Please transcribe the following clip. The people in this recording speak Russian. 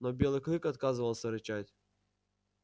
но белый клык отказывался рычать